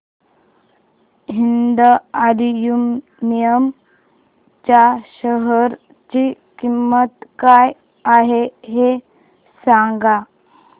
Hind aluminium च्या share ची किंमत काय आहे हे सांगा